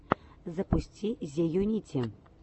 запусти зеюнити